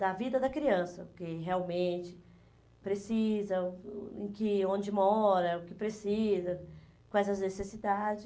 da vida da criança, que realmente precisa, o o que onde mora, o que precisa, quais as necessidades.